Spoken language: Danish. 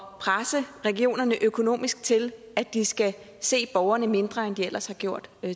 presse regionerne økonomisk til at de skal se borgerne mindre end de ellers har gjort